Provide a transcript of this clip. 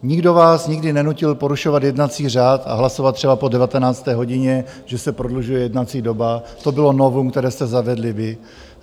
Nikdo vás nikdy nenutil porušovat jednací řád a hlasovat třeba po 19. hodině, že se prodlužuje jednací doba, to bylo novum, které jste zavedli vy.